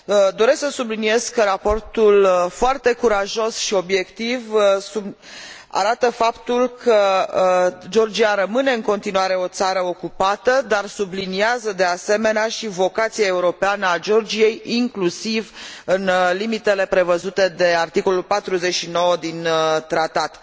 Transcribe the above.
Doresc să subliniez că raportul foarte curajos și obiectiv arată faptul că Georgia rămâne în continuare o țară ocupată, dar subliniază, de asemenea, și vocația europeană a Georgiei, inclusiv în limitele prevăzute de articolul 49 din tratat.